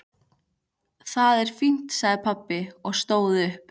Það er fínt sagði pabbi og stóð upp.